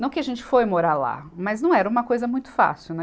Não que a gente foi morar lá, mas não era uma coisa muito fácil, né?